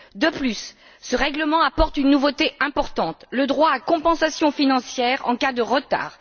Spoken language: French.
De plus, ce règlement apporte une nouveauté importante le droit à une compensation financière en cas de retard.